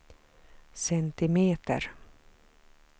centimeter